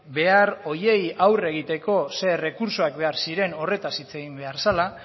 behar horiei aurre egiteko zer errekurtsoak behar ziren horretaz hitz egin behar zela